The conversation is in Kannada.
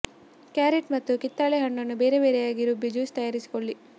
ಕ್ಯಾರೆಟ್ ಮತ್ತು ಕಿತ್ತಳೆ ಹಣ್ಣನ್ನು ಬೇರೆ ಬೇರೆಯಾಗಿ ರುಬ್ಬಿ ಜ್ಯೂಸ್ ತಯಾರಿಸಿಕೊಳ್ಳಿ